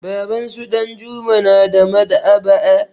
Babansu Ɗanjuma na da Maɗ'aba'a.